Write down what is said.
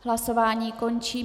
Hlasování končím.